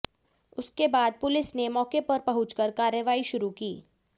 उसके बाद पुलिस ने मौके पर पहुंचकर कार्रवाई शुरू की